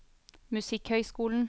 musikkhøyskolen